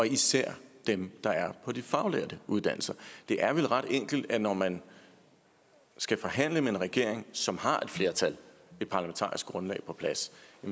især dem på de faglærte uddannelser det er vel ret enkelt at når man skal forhandle med en regering som har et flertal et parlamentarisk grundlag på plads